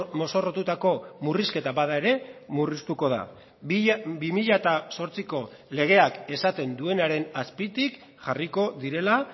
mozorrotutako murrizketa bada ere murriztuko da bi mila zortziko legeak esaten duenaren azpitik jarriko direla